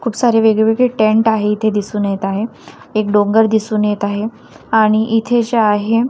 खूप सारे वेगवेगळे टेंट आहे इथे दिसून येत आहे एक डोंगर दिसून येत आहे आणि इथे जे आहे--